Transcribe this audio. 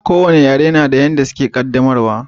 Ko wane yare na da yanda suke qaddamarwa